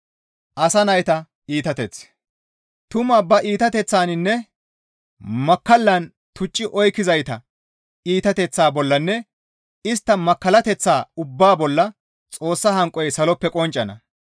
Tumaa ba iitateththaninne makkallan tucci oykkizayta iitateththaa bollanne istta makkallateththaa ubbaa bolla Xoossa hanqoy saloppe qonccana.